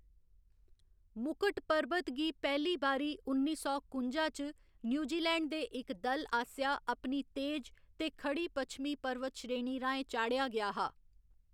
मुकट पर्बत गी पैह्‌ली बारी उन्नी सौ कुंजा च न्यूजीलैन्ड दे इक दल आसेआ अपनी तेज ते खड़ी पच्छमी पर्वतश्रेणी राहें चढ़ेआ गेआ हा।